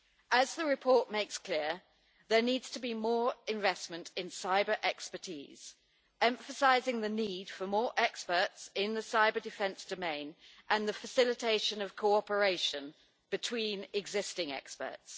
As the report makes clear, there needs to be more investment in cyber-expertise, emphasising the need for more experts in the cyber-defence domain and the facilitation of cooperation between existing experts.